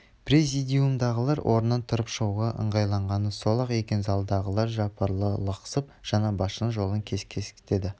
президиумдағылар орнынан тұрып шығуға ыңғайланғаны сол-ақ екен залдағылар жапырыла лықсып жаңа басшының жолын кескестеді